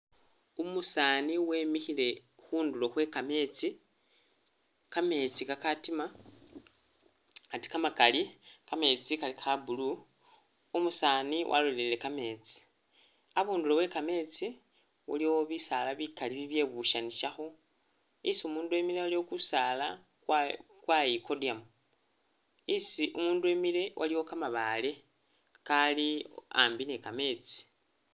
Umusaani wimikhile khundulo khwe kameetsi, kameetsi kakatima ate kamakali. Kameetsi kali ka blue, umusaani walolelele kameetsi. Abundulo we kameetsi waliwo bisaala bikali bibyebusyanisakho. isi umundu emile waliwo kusaala kwayi kwayikodyamu, isi umundu emile waliyo kamabaale kali ambi ni kameetsi